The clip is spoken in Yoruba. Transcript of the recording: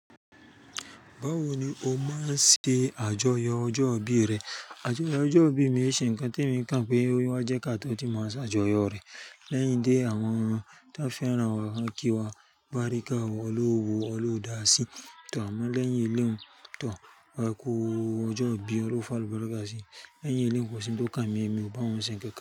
Báwo ni o máa ń ṣe àjọyọ̀ ọjọ́ ìbí rẹ? Àjọyọ̀ ọjọ́ ìbí mi e ṣe ń kan tí mo kàń pé ó yẹ ká tó ti máa ṣe àjọyọ̀ rẹ̀. Lẹ́yìn dé àwọn tan fẹ́ràn wá, kan ki, barika, Ọlọhun o wo, Ọlọhun o da sí tọ̀. Àmọ́ lẹ́yìn eléhun, àkú ọjọ́ ìbí, Ọlọhun o f'alubarika si, lẹ́yìn elehun kò sí n tó kàn mí èmi, o bá wọn ṣe nkankan.